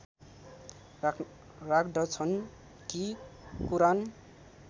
राख्दछन कि कुरान